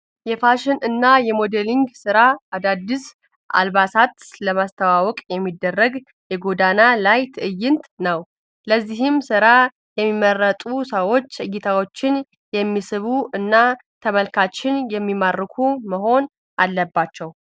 የፋሽን እና የሞዴሊንግ ስራ አዳዲስ አልባሳት ለማስተዋወቅ የሚደረግ የጎዳና ላይ ትዕይንት ነው። ለዚህም ስራ የሚመረጡ ሰዎች እይታዎችን የሚስቡ እና ተመልካችን የሚማርኩ መሆን አለባቸው።